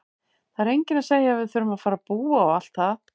Það er enginn að segja að við þurfum að fara að búa og allt það!